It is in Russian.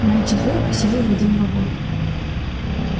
моя четвёрка села в один вагон